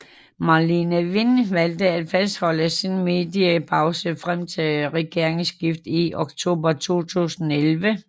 Marlene Wind valgte at fastholde sin mediepause frem til regeringsskiftet i oktober 2011